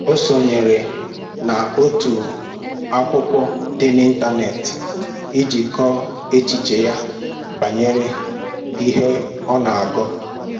Ọ sonyere na otu akwụkwọ dị n'ịntanet iji kọọ echiche ya banyere ihe ọ na-agụ